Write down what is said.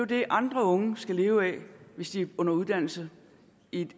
det andre unge skal leve af hvis de er under uddannelse i